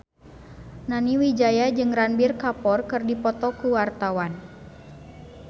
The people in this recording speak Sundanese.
Nani Wijaya jeung Ranbir Kapoor keur dipoto ku wartawan